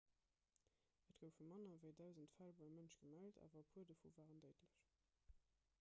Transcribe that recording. et goufe manner ewéi dausend fäll beim mënsch gemellt awer e puer dovu waren déidlech